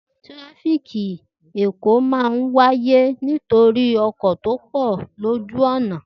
Tirafiki Èkó máa n wáyé nítorí ọkọ̀ pọ lójúo ọ̀nà